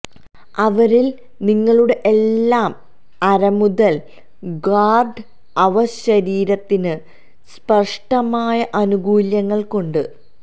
അവരിൽ നിങ്ങളുടെ എല്ലാ അരമുതൽ ഗാർഡ് അവ ശരീരത്തിന് സ്പഷ്ടമായ ആനുകൂല്യങ്ങൾ കൊണ്ട്